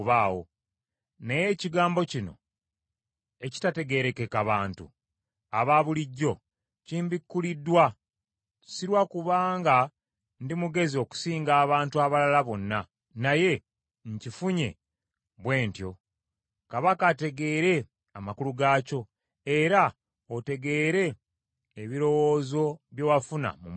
Naye ekigambo kino ekitategeerekeka bantu abaabulijjo kimbikkuliddwa, si lwa kuba nga ndi mugezi okusinga abantu abalala bonna, naye nkifunye bwe ntyo, kabaka ategeere amakulu gaakyo, era otegeere ebirowoozo bye wafuna mu mutima gwo.